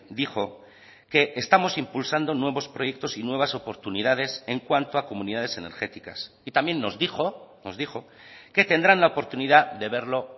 dijo que estamos impulsando nuevos proyectos y nuevas oportunidades en cuanto a comunidades energéticas y también nos dijo nos dijo que tendrán la oportunidad de verlo